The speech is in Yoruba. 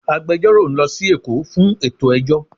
Agbẹjọ́rò ń lọ sí Èkó fún ètò ẹjọ́